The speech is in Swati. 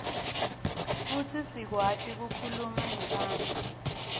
futsi sikwati kukhuluma nebantfu